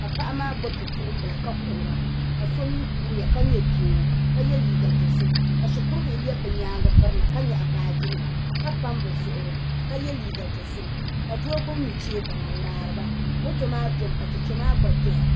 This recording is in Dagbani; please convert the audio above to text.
ka paɣa maa gbubi bipuɣunbila ka kuhura ka so mii kuriya ka nyɛ doo ka yɛ liiga dozim ka shikuru bihi lɛbi bi nyaangi birina ka nyaɣa baaji nima ka pam bi zuɣuri ka yɛ liiga dozim ka doo gbubi nuchɛ baŋa n ŋmaariba moto maa domi ka chɛchɛ maa gba doya